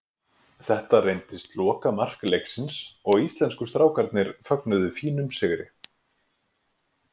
Þetta reyndist lokamark leiksins og íslensku strákarnir fögnuðu fínum sigri.